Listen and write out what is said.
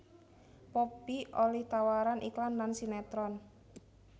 Poppy olih tawaran iklan lan sinetron